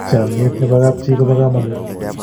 chamiet nebo kap chii kobo kamangut